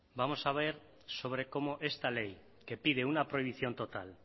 vamos a ver sobre cómo esta ley que pide una prohibición total